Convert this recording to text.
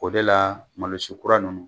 O de la malosi kura ninnu.